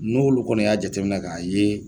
N'olu kɔni y'a jateminɛ k'a ye